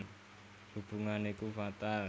Hubungan iku fatal